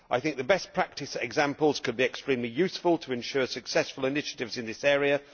I think the best practice examples could be extremely useful to ensure successful initiatives in this area.